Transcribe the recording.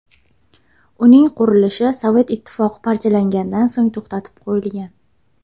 Uning qurilishi Sovet Ittifoqi parchalangandan so‘ng to‘xtatib qo‘yilgan.